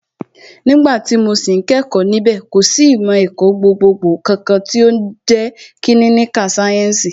Nígbà tí mo sì ń kẹ́kọ̀ọ́ níbẹ̀, kò sì ìmọ̀ ẹ̀kọ́ gbogbogbò kankan tí ń jẹ́ kílíníkà sáyẹ́ǹsì